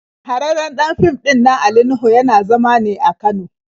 Shahararren ɗan fim ɗinnan Ali Nuhu yana zama ne a Kano.